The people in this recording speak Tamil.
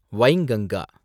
வைங்கங்கா